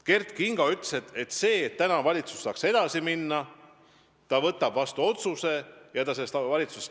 Kert Kingo ütles, et selleks, et valitsus saaks edasi minna, võtab ta vastu otsuse ja lahkub valitsusest.